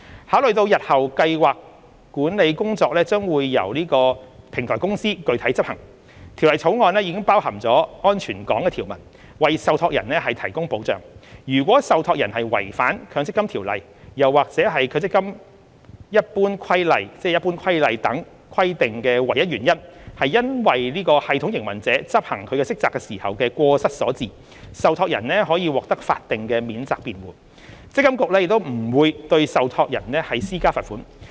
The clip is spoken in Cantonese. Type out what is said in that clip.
考慮到日後計劃管理工作將由平台公司具體執行，《條例草案》包含了"安全港"條文，為受託人提供保障：如果受託人違反《強積金條例》或《強制性公積金計劃規例》等規定的唯一原因是因為系統營運者執行其職責時的過失所致，受託人可獲法定免責辯護，積金局亦不會對受託人施加罰款。